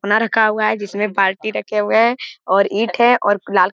बना रखा हुआ है जिसमें बाल्टी रखे हुए है ईट है और लाल --